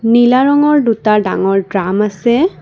নীলা ৰঙৰ দুটা ডাঙৰ দ্ৰাম আছে।